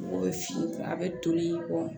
Mɔgɔw bɛ fin a bɛ toli kɔ